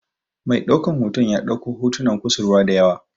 Mai ɗaukan hoto ya ɗauko hotunan kusurwa da yawa.